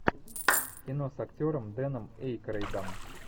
кино с актером дэном эйкройдом